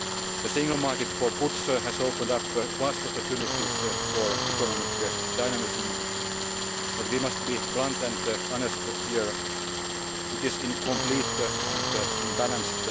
economy. The single market for goods has opened up vast opportunities for economic dynamism but we must be blunt and honest here it is incomplete and unbalanced.